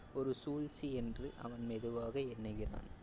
ஒரு சூழ்ச்சி என்று அவன் மெதுவாக எண்ணுகிறான்.